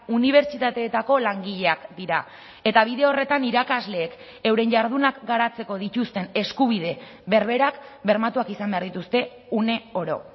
unibertsitateetako langileak dira eta bide horretan irakasleek euren jardunak garatzeko dituzten eskubide berberak bermatuak izan behar dituzte une oro